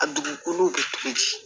A dugukolo bɛ cogo di